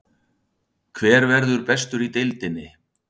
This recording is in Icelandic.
Fyrri spurning dagsins: Hver verður bestur í deildinni?